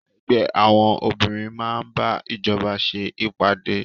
Ẹgbẹ́ àwọn obìnrin máa bá ìjọba ṣe ìpàdé.